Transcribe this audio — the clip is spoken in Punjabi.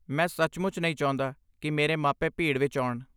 ਮੈਂ ਸੱਚਮੁੱਚ ਨਹੀਂ ਚਾਹੁੰਦਾ ਕਿ ਮੇਰੇ ਮਾਪੇ ਭੀੜ ਵਿੱਚ ਆਉਣ।